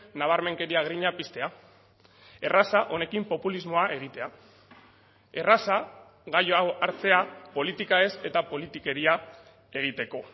nabarmenkeria grina piztea erraza honekin populismoa egitea erraza gai hau hartzea politika ez eta politikeria egiteko